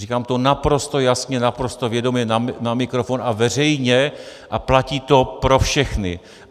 Říkám to naprosto jasně, naprosto vědomě na mikrofon a veřejně a platí to pro všechny.